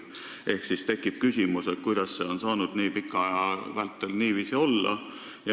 Ehk tekib küsimus, kuidas see sai nii pika aja vältel niiviisi olla.